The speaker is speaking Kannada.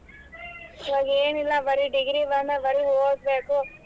ಇವಾಗ್ ಎನಿಲ್ಲಾ ಬರೆ degree ಬರನ ಬರೆ ಓದ್ಬೇಕು.